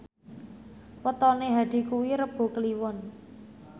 wetone Hadi kuwi Rebo Kliwon